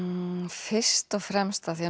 fyrst og fremst af því